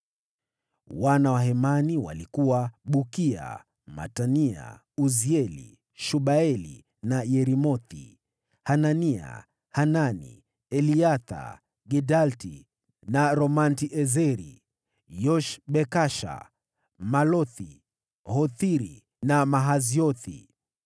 Wana wa Hemani walikuwa: Bukia, Matania, Uzieli, Shebueli na Yeremothi, Hanania, Hanani, Eliatha, Gidalti na Romamti-Ezeri, Yoshbekasha, Malothi, Hothiri na Mahaziothi.